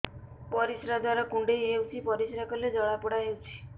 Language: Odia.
ପରିଶ୍ରା ଦ୍ୱାର କୁଣ୍ଡେଇ ହେଉଚି ପରିଶ୍ରା କଲେ ଜଳାପୋଡା ହେଉଛି